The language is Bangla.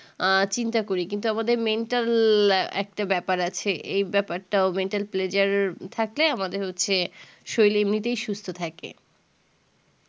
আঃ চিন্তা করি কিন্তু আমাদের mental একটা ব্যাপার আছে এই ব্যাপারটাও mental pleasure থাকলে আমাদের হচ্ছে শরীর এমনিতেও সুস্থ থাকে